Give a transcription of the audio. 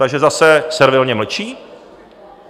Takže zase servilně mlčí?